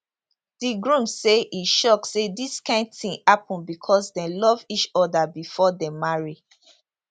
di groom say e shock say dis kain tin happun becos dem love each oda bifor dem marry